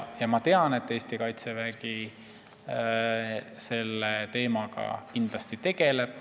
Ma tean, et Eesti Kaitsevägi kindlasti selle teemaga tegeleb.